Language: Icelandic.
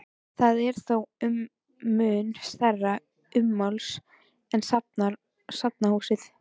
Það er þó mun stærra ummáls en safnahúsið.